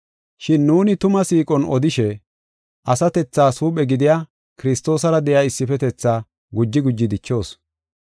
Shin nuuni tumaa siiqon odishe, asatethaas huuphe gidiya Kiristoosara de7iya issifetetha guji guji dichoos.